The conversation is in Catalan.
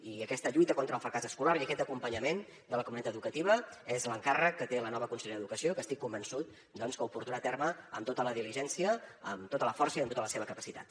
i aquesta lluita contra el fracàs escolar i aquest acompanyament de la comunitat educativa és l’encàrrec que té la nova consellera d’educació que estic convençut doncs que ho portarà a terme amb tota la diligència amb tota la força i amb tota la seva capacitat